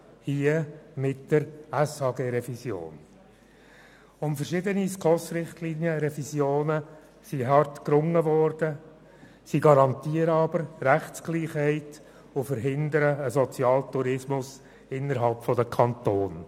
Um verschiedene Revisionen der SKOSRichtlinien wurde hart gerungen, sie garantieren jedoch Rechtsgleichheit und verhindern einen Sozialtourismus innerhalb der Kantone.